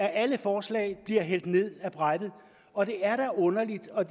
alle forslag bliver hældt ned ad brættet og det er da underligt